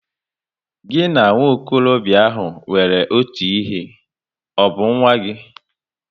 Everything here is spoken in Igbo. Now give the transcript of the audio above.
Gị na nwokorobia ahụ nwere otu ihe, ọ bụ nwanne gị?